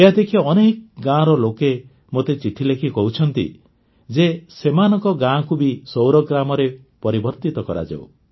ଏହା ଦେଖି ଅନେକ ଗାଁର ଲୋକେ ମୋତେ ଚିଠି ଲେଖି କହୁଛନ୍ତି ଯେ ସେମାନଙ୍କ ଗାଁକୁ ବି ସୌର ଗ୍ରାମରେ ପରିବର୍ତିତ କରାଯାଉ